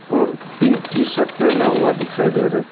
और pink T shirt पे Naoya दिखाई दे रहे --